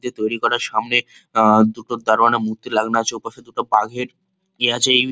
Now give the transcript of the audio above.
যে তৈরি করার সামনে দুটি দারোয়ানের মূর্তি লাগানো আছে ওপাশে দুটো বাঘের ইয়ে আছে।